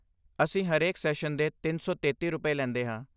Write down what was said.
ਅਸੀਂ ਹਰੇਕ ਸੈਸ਼ਨ ਦੇ ਤਿੰਨ ਸੌ ਤੇਤੀ ਰੁਪਏ, ਲੈਂਦੇ ਹਾਂ